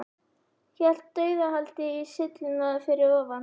Hélt dauðahaldi í sylluna fyrir ofan.